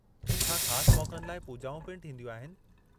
छा ख़ासि मौक़नि लाइ पूॼाऊं पिण थींदियूं आहिनि?